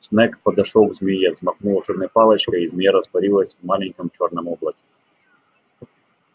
снегг подошёл к змее взмахнул волшебной палочкой и змея растворилась в маленьком чёрном облаке